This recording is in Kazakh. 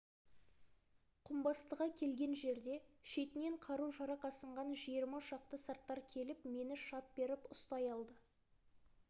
құмбастыға келген жерде шетінен қару-жарақ асынған жиырма шақты сарттар келіп мені шап беріп ұстай алды